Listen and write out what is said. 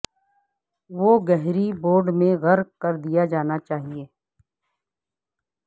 وہ گہری بورڈ میں غرق کر دیا جانا چاہیے